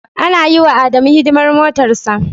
Ana yiwa Adamu hidimar motarsa.